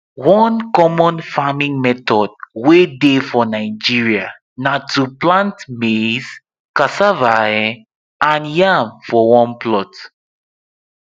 one common farming method way dey for nigeria na to plant maize cassava um and yam for one plot